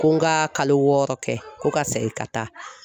Ko n ka kalo wɔɔrɔ kɛ ko ka segin ka taa